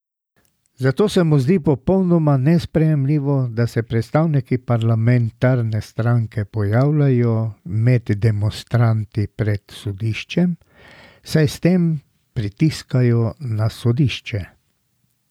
Zato se mu zdi popolnoma nesprejemljivo, da se predstavniki parlamentarne stranke pojavljajo med demonstranti pred sodiščem, saj s tem pritiskajo na sodišče.